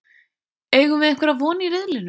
Eigum við einhverja von í riðlinum?